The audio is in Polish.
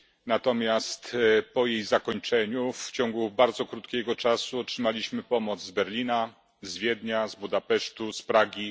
Natomiast po jej zakończeniu w ciągu bardzo krótkiego czasu otrzymaliśmy pomoc z Berlina, Wiednia, Budapesztu, Pragi.